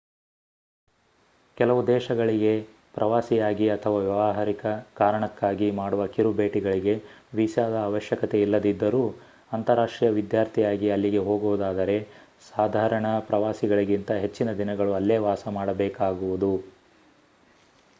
ಕೆಲವು ದೇಶಗಳಿಗೆ ಪ್ರವಾಸಿಯಾಗಿ ಅಥವಾ ವ್ಯವಹಾರಿಕ ಕಾರಣಕ್ಕಾಗಿ ಮಾಡುವ ಕಿರು ಭೇಟಿಗಳಿಗೆ ವೀಸಾದ ಅವಶ್ಯಕತೆ ಇಲ್ಲದಿದ್ದರೂ ಅಂತಾರಾಷ್ಟೀಯ ವಿದ್ಯಾರ್ಥಿಯಾಗಿ ಅಲ್ಲಿಗೆ ಹೋಗುವುದಾದರೆ ಸಾಧಾರಣ ಪ್ರವಾಸಿಗಳಿಗಿಂತ ಹೆಚ್ಚಿನ ದಿನಗಳು ಅಲ್ಲೇ ವಾಸ ಮಾಡಬೇಕಾಗುವುದು